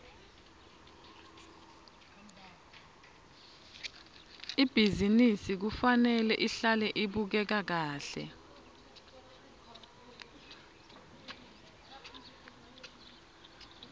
ibhizinisi kufanele ihlale ibukeka kahle